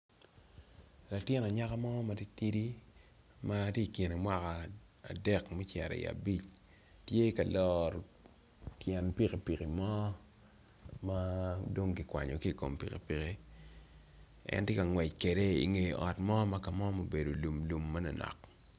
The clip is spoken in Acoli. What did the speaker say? Latin anyaka mo matitidi matye i kene mwaka adek me cito i abic tye ka loro tyen piki piki mo madong kikwanyo kikom pikipiki en tye ka ngwec kede inge ot mo ma mubedo lumlum manonok.